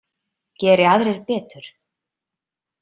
Geri aðrir betur.